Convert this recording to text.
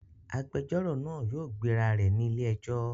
Agbẹjọro naa yóò gbeja rẹ ni ile-ẹjọ